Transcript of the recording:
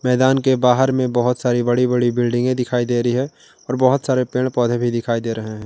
मैदान के बाहर में बहुत सारी बड़ी बड़ी बिल्डिंग दिखाई दे रही है और बहुत सारे पेड़ पौधे भी दिखाई दे रहे हैं।